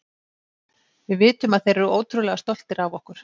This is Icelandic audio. Við vitum að þeir eru ótrúlega stoltir af okkur.